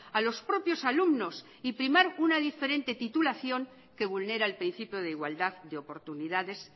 a los propios alumnos y primar una diferente titulación que vulnera el principio de igualdad de oportunidades